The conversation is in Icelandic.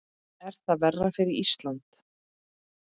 Er það verra fyrir Ísland?